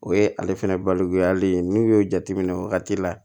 O ye ale fɛnɛ balo ale ye n'u y'o jateminɛ wagati la